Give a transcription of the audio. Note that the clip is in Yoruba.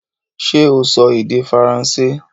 Ṣé o sọ èdè Faransé?